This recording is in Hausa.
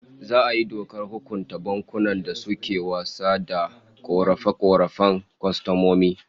Za'a yi dokar hukunta bankunan da suke wasa da korafe-korafen kwastomomi